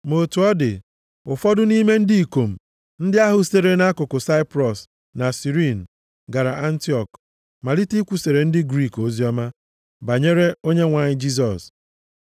Ma otu ọ dị, ụfọdụ nʼime ndị ikom ndị ahụ sitere nʼakụkụ Saiprọs na Sirini gara Antiọk, malite ikwusara ndị Griik oziọma banyere Onyenwe anyị Jisọs.